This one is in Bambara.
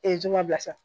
juma bilasira